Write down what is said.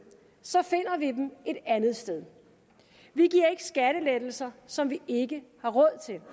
så finder vi dem et andet sted vi giver ikke skattelettelser som vi ikke har råd til